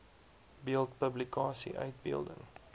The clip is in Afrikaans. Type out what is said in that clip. beeld publikasie uitbeelding